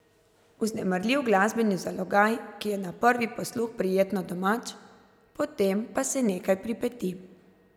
Vznemirljiv glasbeni zalogaj, ki je na prvi posluh prijetno domač, potem pa se nekaj pripeti.